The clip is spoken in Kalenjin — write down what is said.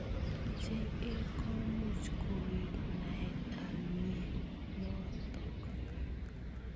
JA komuch koui naet ab mnyenotok.